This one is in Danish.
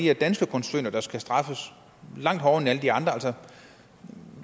er danske koncerner der skal straffes langt hårdere end alle de andre